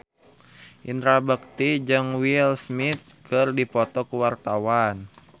Indra Bekti jeung Will Smith keur dipoto ku wartawan